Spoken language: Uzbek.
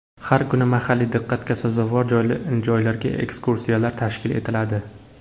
Har kuni mahalliy diqqatga sazovor joylarga ekskursiyalar tashkil etiladi.